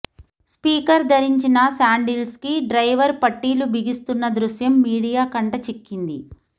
speaker ధరించిన శాండిల్స్కి driver పట్టీలు బిగిస్తున్న దృశ్యం మీడియా కంట చిక్కింది